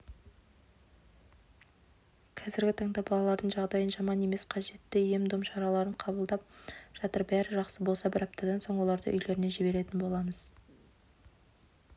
қазіргі таңда балалардың жағдайы жаман емес қажетті ем-дом шараларын қабылдап жатыр бәрі жақсы болса бір аптадан соң оларды үйлеріне жіберетін боламыз